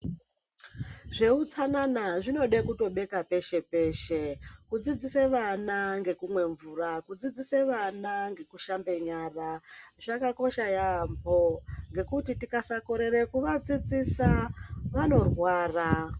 Zveutsanana zvinoda kutobeka peshe peshe. Kudzidzise vana ngekumwe mvura, kudzidzisa vana ngekushambe nyara. Zvakakosha yaambo ngekuti tikakorera kuvadzidzisa vanorwara.